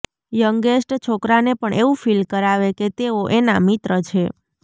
youngest છોકરાને પણ એવું ફીલ કરાવે કે તેઓ એના મિત્ર છે